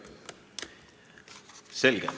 Selge.